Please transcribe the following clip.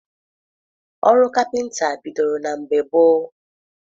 Ọrụ kapịnta bidoro na mgbe gboo.